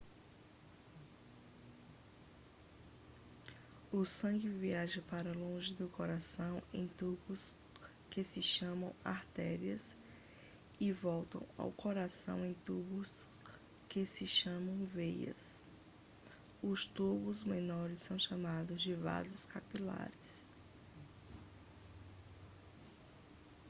o sangue viaja para longe do coração em tubos que se chamam artérias e volta ao coração em tubos que se chamam veias os tubos menores são chamados de vasos capilares